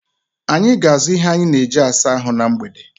Anyị ga na-azụ ihe anyị na eji -asa ahụ na mgbede